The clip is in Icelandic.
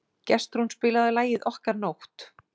Gestrún, spilaðu lagið „Okkar nótt“.